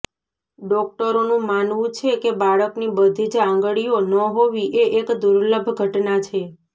ડોક્ટરોનું માનવું છે કે બાળકની બધી જ આંગળીઓ ન હોવી એ એક દુર્લભ ઘટના છે